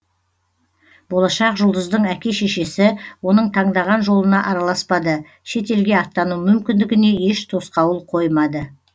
болашақ жұлдыздың әке шешесі оның таңдаған жолына араласпады шет елге аттану мүмкіндігіне еш тосқауыл қоймады